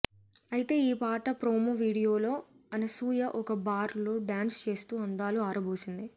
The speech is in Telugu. అయితే ఈ పాట ప్రోమో వీడియోలో అనసూయ ఒక బార్ లో డ్యాన్స్ చేస్తూ అందాలు ఆరబోసింది